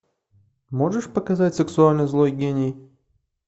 можешь показать сексуальный злой гений